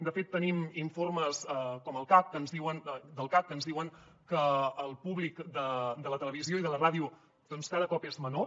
de fet tenim informes del cac que ens diuen que el públic de la televisió i de la ràdio doncs cada cop és menor